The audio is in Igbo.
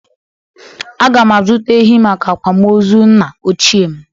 Aga m azụta ehi maka akwamozu nna ochie m.